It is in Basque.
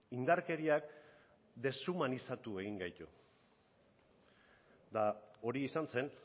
indarkeriak deshumanizatu egin gaitu eta hori izan zen